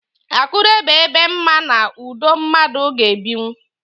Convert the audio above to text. Akure bụ ebe mma na ụdọ mmadụ ga-ebinwú.